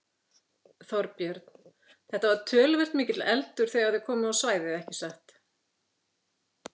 Þorbjörn: Þetta var töluvert mikill eldur þegar þið komuð á svæðið ekki satt?